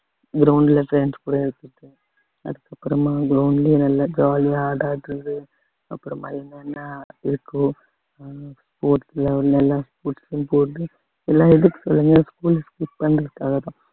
ground ல friends கூட அதுக்கப்புறமா ground லயே நல்லா jolly ஆ அப்புறமா எங்கன்னா எல்லா எதுக்கு சொல்லுங்க school க்கு skip பண்ணுறதுக்காகதான்